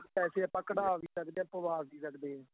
ਪੈਸੇ ਆਪਾਂ ਕੱਢਾਹ ਵੀ ਸਕਦੇ ਹਾਂ ਪਵਾ ਵੀ ਸਕਦੇ ਹਾਂ